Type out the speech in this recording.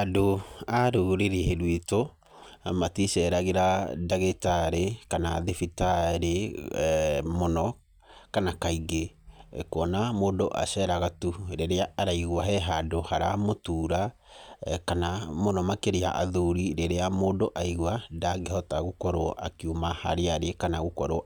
Andũ a rũrĩrĩ rwitũ maticeragĩra ndagĩtarĩ kana thibitarĩ mũno kana kaingĩ. Kuona mũndũ aceraga tu rĩrĩa araigua he handũ haramũtura kana mũno makĩria athuri rĩrĩa mũndũ aigua ndangĩhota gũkorwo akiuma harĩa arĩ kana